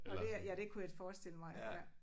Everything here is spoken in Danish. Og det er ja det kunne jeg forestille mig at ja